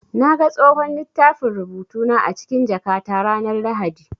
Na ga tsohon littafin rubutu na a cikin jakata ranar Lahadi.